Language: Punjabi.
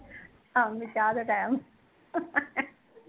ਸ਼ਾਮ ਨੂ ਚਾਹ ਦੇ ਟੀਮ